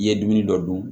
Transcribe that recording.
I ye dumuni dɔ dun